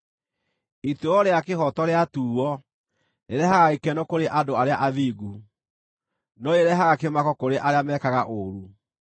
Ituĩro rĩa kĩhooto rĩatuuo, rĩrehaga gĩkeno kũrĩ andũ arĩa athingu, no rĩrehaga kĩmako kũrĩ arĩa mekaga ũũru.